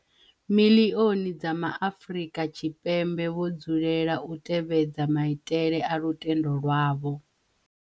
Miḽioni dza Ma Afrika Tshipembe vho dzulela u tevhedza maitele a lutendo lwavho.